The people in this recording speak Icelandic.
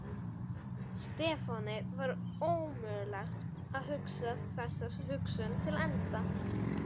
Stefáni var ómögulegt að hugsa þessa hugsun til enda.